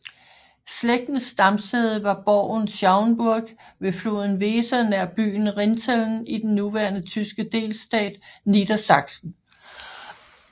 Slægtens stamsæde var borgen Schauenburg ved floden Weser nær byen Rinteln i den nuværende tyske delstat Niedersachsen